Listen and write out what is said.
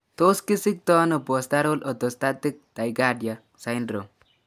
Tos kisiktoono postural orthostatic tachycardia syndrome